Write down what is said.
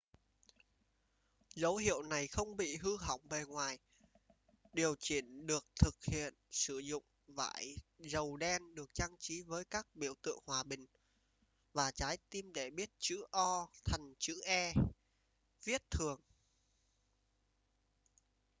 dấu hiệu này không bị hư hỏng bề ngoài điều chỉnh được thực hiện sử dụng vải dầu đen được trang trí với các biểu tượng hòa bình và trái tim để biến chữ o thành chữ e viết thường